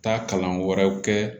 Taa kalan wɛrɛw kɛ